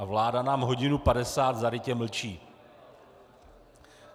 A vláda nám hodinu padesát zarytě mlčí.